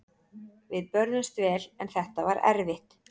Við börðumst vel en þetta var erfitt.